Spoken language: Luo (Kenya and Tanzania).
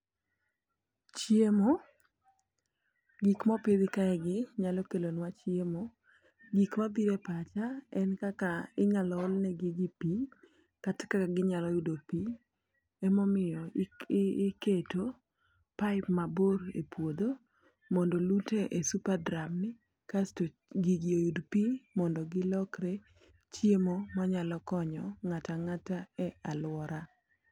Chiemo, gik mopidh kae gi nyalo kelo nwa chiemo. Gik mabire pacha en kaka inyalo one gigi pii kata kaka ginyalo yudo pii emomiyo i iketo paip mabor e puodho, mondo olute e supadram asto gigi yud pii mondo gilokre chiemo manyalo konyo ng'ata ng'ata e aluora.